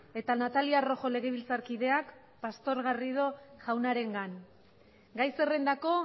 eta natalia rojo legebiltzarkideak pastor garrido jaunarengan gai zerrendako